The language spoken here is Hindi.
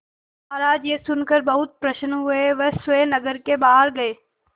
महाराज यह सुनकर बहुत प्रसन्न हुए वह स्वयं नगर के बाहर गए